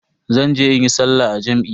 Zan je in yi sallah a jam'i.